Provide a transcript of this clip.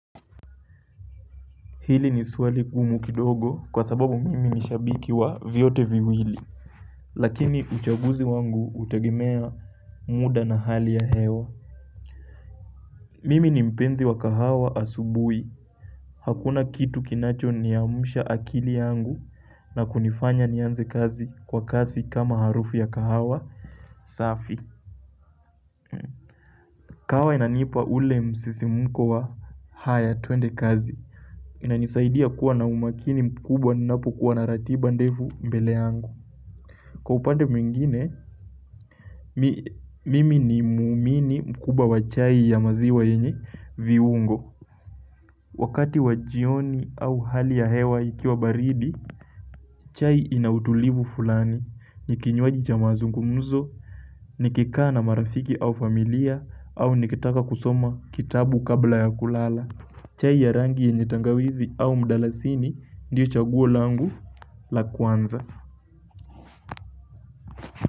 Hili ni swali gumu kidogo kwa sababu mimi ni shabiki wa vyote viwili. Lakini uchaguzi wangu hutegemea muda na hali ya hewa. Mimi ni mpenzi wa kahawa asubui. Hakuna kitu kinacho niamsha akili yangu na kunifanya nianze kazi kwa kasi kama harufi ya kahawa safi. Kahawa inanipa ule msisimko wa haya tuende kazi. Inanisaidia kuwa na umakini mkubwa ninapokuwa na ratiba ndefu mbele yangu Kwa upande mwingine, mimi ni muumini mkubwa wa chai ya maziwa yenye viungo Wakati wa jioni au hali ya hewa ikiwa baridi, chai inautulivu fulani ni kinywaji cha mazungumzo, nikikaa na marafiki au familia au nikitaka kusoma kitabu kabla ya kulala chai ya rangi yenye tangawizi au mdalasini ndio chaguo langu la kwanza.